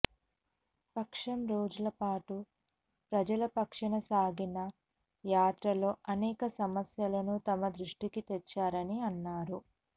పక్షం రోజుల పాటు ప్రజల పక్షాన సాగిన యాత్రలో అనేక సమస్యలను తమ దృష్టికి తెచ్చారని అన్నారు